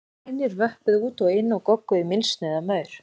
Hænur vöppuðu út og inn og gogguðu í mylsnu eða maur.